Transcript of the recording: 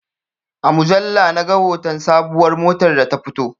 A mujalla na ga hoton sabuwar motar da ta fito